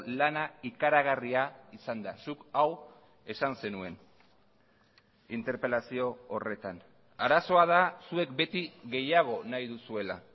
lana ikaragarria izan da zuk hau esan zenuen interpelazio horretan arazoa da zuek beti gehiago nahi duzuela